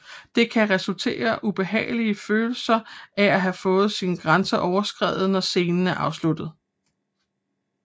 Det kan resultere ubehageligt følelser af at have fået sine grænser overskredet når scenen er afsluttet